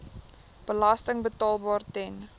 belasting betaalbaar ten